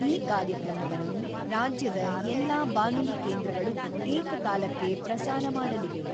ಈ ಕಾರ್ಯಕ್ರಮವನ್ನು ರಾಜ್ಯದ ಎಲ್ಲಾ ಬಾನುಲಿ ಕೇಂದ್ರಗಳು ಏಕ ಕಾಲಕ್ಕೆ ಪ್ರಸಾರ ಮಾಡಲಿವೆ.